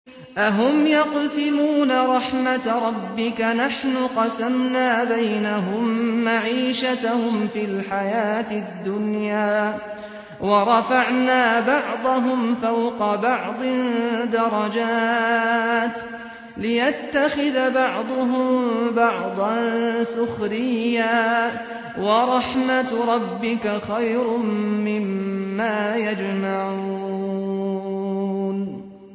أَهُمْ يَقْسِمُونَ رَحْمَتَ رَبِّكَ ۚ نَحْنُ قَسَمْنَا بَيْنَهُم مَّعِيشَتَهُمْ فِي الْحَيَاةِ الدُّنْيَا ۚ وَرَفَعْنَا بَعْضَهُمْ فَوْقَ بَعْضٍ دَرَجَاتٍ لِّيَتَّخِذَ بَعْضُهُم بَعْضًا سُخْرِيًّا ۗ وَرَحْمَتُ رَبِّكَ خَيْرٌ مِّمَّا يَجْمَعُونَ